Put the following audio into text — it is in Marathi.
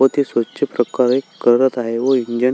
व ते स्वच्छ प्रकारे करत आहे व इंजिन --